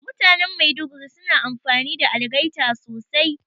Mutanan Maiduguri suna amfani da algaita sosai